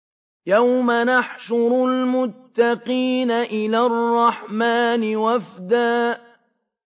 يَوْمَ نَحْشُرُ الْمُتَّقِينَ إِلَى الرَّحْمَٰنِ وَفْدًا